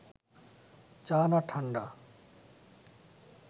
চা না ঠাণ্ডা